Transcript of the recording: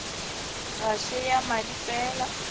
ga se ya madi fela